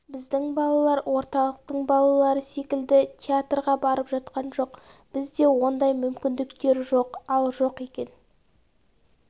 біздің балалар орталықтың балалары секілді театрға барып жатқан жоқ бізде ондай мүмкіндіктер жоқ ал жоқ екен